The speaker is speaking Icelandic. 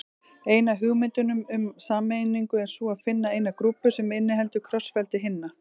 Ein af hugmyndunum um sameiningu er sú að finna eina grúpu sem inniheldur krossfeldi hinna.